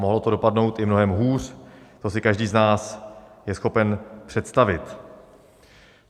Mohlo to dopadnout i mnohem hůř, to si každý z nás je schopen představit.